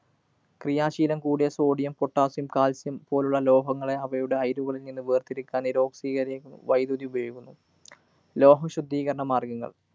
ക്രിയാശീലം കൂടിയ sodiumpotassiumcalcium പോലുള്ള ലോഹങ്ങളെ അവയുടെ അയിരുകള്‍ നിന്ന് വേര്‍തിരിക്കാന്‍ നിരോക്സീ വൈദ്യുതി ഉപയോഗിക്കുന്നു. ലോഹം ശുദ്ധീകരണ മാര്‍ഗ്ഗങ്ങള്‍